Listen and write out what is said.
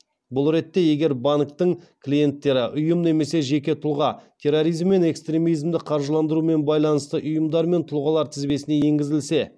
бұл ретте егер банктің клиенттері ұйым немесе жеке тұлға терроризм мен экстремизмді қаржыландырумен байланысты ұйымдар мен тұлғалар тізбесіне енгізілсе